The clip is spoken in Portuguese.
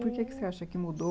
Por que que você acha que mudou?